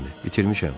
Bitirmişəm.